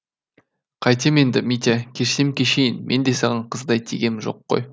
қайтем енді митя кешсем кешейін мен де саған қыздай тигем жоқ қой